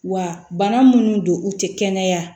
Wa bana minnu don u tɛ kɛnɛya